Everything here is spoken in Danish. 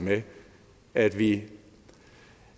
med at vi